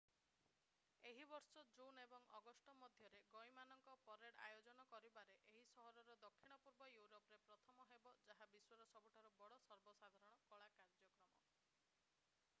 ଏହି ବର୍ଷ ଜୁନ୍ ଏବଂ ଅଗଷ୍ଟ ମଧ୍ୟରେ ଗଈ ମାନଙ୍କ ପରେଡ୍ ଆୟୋଜନ କରିବାରେ ଏହି ସହର ଦକ୍ଷିଣ-ପୂର୍ବ ୟୁରୋପରେ ପ୍ରଥମ ହେବ ଯାହା ବିଶ୍ୱର ସବୁଠାରୁ ବଡ଼ ସର୍ବସାଧାରଣ କଳା କାର୍ଯ୍ୟକ୍ରମ